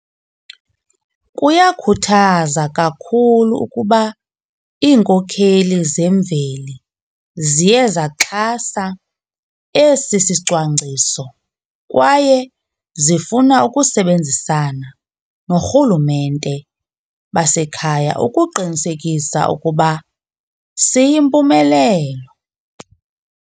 Kuyakhuthaza kakhulu ukuba iinkokheli zemveli ziye zaxhasa esi sicwangciso kwaye zifuna ukusebenzisana norhulumente basekhaya ukuqinisekisa ukuba siyimpumelelo.